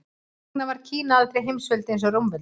Hvers vegna varð Kína aldrei heimsveldi eins og Rómaveldi?